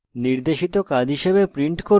নির্দেশিত কাজ হিসাবে প্রিন্ট